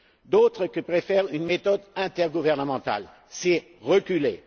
D'autres préfèrent une méthode intergouvernementale c'est reculer.